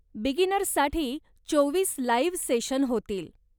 बिगिनर्ससाठी चोवीस live session होतील.